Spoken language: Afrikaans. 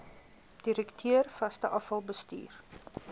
direkteur vaste afvalbestuur